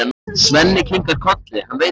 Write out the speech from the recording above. Svenni kinkar kolli, hann veit það.